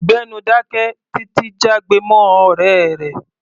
Gbẹ́nu dáké! Títi jágbe mọ́ ọ̀rẹ́ rẹ̀.